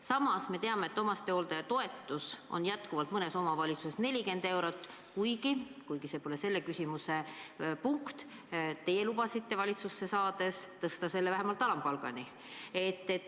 Samas me teame, et omastehooldaja toetus on mõnes omavalitsuses 40 eurot, kuigi – see pole küll selle küsimuse teema – teie lubasite valitsusse saades tõsta selle vähemalt alampalgani.